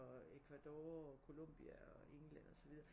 Og Ecuador og Colombia og England og så videre